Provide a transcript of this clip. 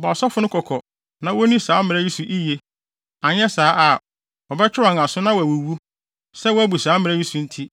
“Bɔ asɔfo no kɔkɔ na wonni saa mmara yi so yiye, anyɛ saa a, wɔbɛtwe wɔn aso na wɔawuwu sɛ wɔabu saa mmara yi so nti.